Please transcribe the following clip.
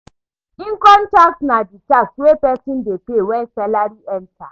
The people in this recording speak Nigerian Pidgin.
Income tax na di tax wey person dey pay when salary enter